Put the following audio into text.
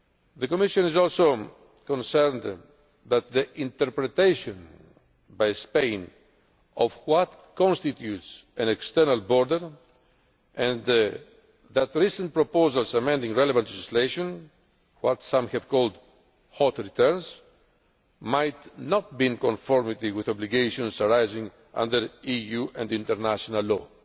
The Commission is also concerned that the interpretation by Spain of what constitutes an external border, and recent proposals amending relevant legislation what some have called hot returns' might not be in conformity with obligations arising under EU and international law.